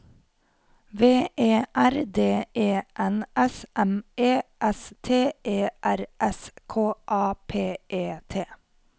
V E R D E N S M E S T E R S K A P E T